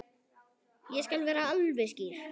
Ég skal vera alveg skýr.